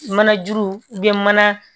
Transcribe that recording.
Mana juru mana